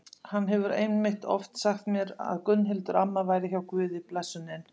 Hann hefur einmitt oft sagt mér að Gunnhildur amma væri hjá Guði blessunin.